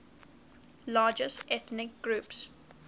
largest ethnic groups